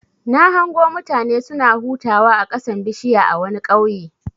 Na hango mutane suna hutawa a ƙasan bishiya a wani ƙauye.